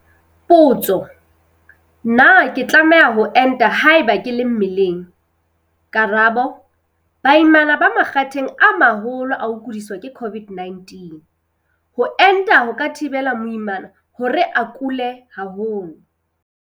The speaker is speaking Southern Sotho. Potso- Na ke tlameha ho enta haeba ke le mmeleng? Karabo- Baimana ba makgatheng a maholo a ho kudiswa ke COVID-19. Ho enta ho ka thibela moimana hore a kule haholo.